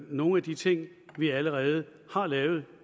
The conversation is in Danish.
nogle af de ting vi allerede har lavet